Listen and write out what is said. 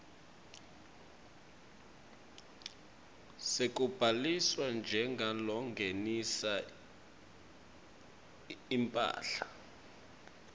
sekubhaliswa njengalongenisa imphahla